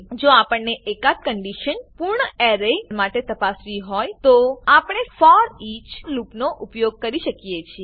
જો આપણને એકાદ કંડીશન પૂર્ણ એરે માટે તપાસવી હોય તો આપણે ફોરઈચ લૂપનો ઉપયોગ કરી શકીએ છીએ